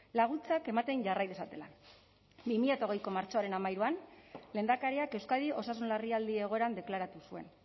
laguntzak ematen jarrai dezatela bi mila hogeiko martxoaren hamairuan lehendakariak euskadi osasun larrialdi egoeran deklaratu zuen